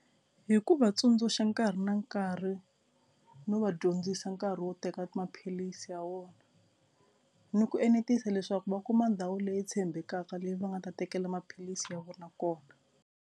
Hi ku vatsundzuxa nkarhi na nkarhi no va dyondzisa nkarhi wo teka maphilisi ya vona ni ku enetisa leswaku va kuma ndhawu leyi tshembekaka leyi va nga ta tekela maphilisi ya vona kona.